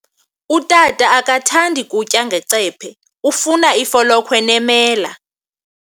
Utata akathandi kutya ngecephe, ufuna ifolokhwe nemela.